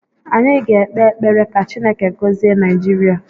Anyị ga-ekpe ekpere ka Chineke gọzie Naijiria